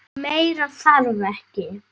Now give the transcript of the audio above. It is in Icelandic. Meira þarf ekki.